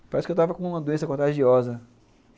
Parece que eu estava com uma doença contagiosa.